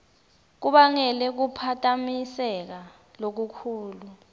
kubangele kuphatamiseka lokukhulu